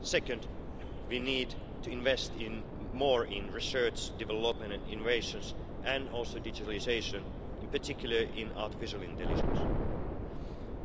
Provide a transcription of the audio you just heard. Second, we need to invest more in research, development and innovation, and also digitalisation, in particular in artificial intelligence.